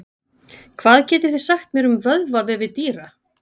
Hvað getið þið sagt mér um vöðvavefi dýra?